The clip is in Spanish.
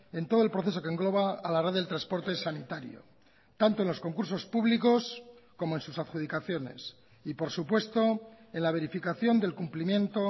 en todo el proceso que engloba a la red del transporte sanitario tanto en los concursos públicos como en sus adjudicaciones y por supuesto en la verificación del cumplimiento